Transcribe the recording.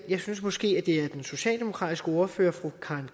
jeg synes måske at det er den socialdemokratiske ordfører fru karen